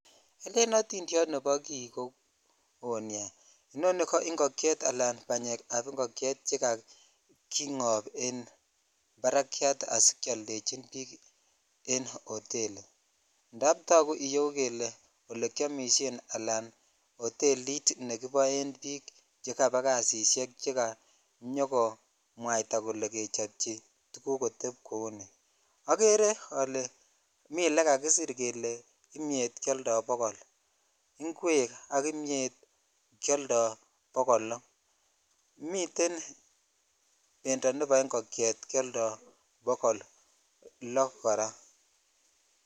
Elen oti diet nebo ki ko woo nia inoni ko ingokyet ala banyek che kakingop enparakyat asikekeodechi biken hoteli idap toguu iyeu kele olekimishe hotelit nekichobchinen bik chekaba kasishek chekanyokomwataa kole kechopchi kotep kou ni okere ole miten olekakisir kelee imietkeoldoo bokol ingwek ak imiet keoldo bokol loo miten bendoo nebo ingokyet keoldoo bokol loo koraa